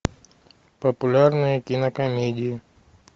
популярные кинокомедии